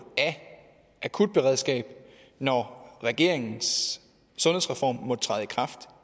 af akutberedskab når regeringens sundhedsreform træder i kraft